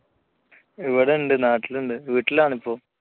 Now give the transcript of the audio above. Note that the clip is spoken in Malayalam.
ഇവിടെ ഉണ്ട് നാട്ടിലുണ്ട്. വീട്ടിലാണ് ഇപ്പോ.